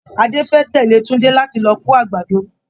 Adé fẹ́ tẹ̀lé Tunde láti lọ kó àgbàdo.